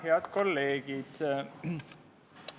Head kolleegid!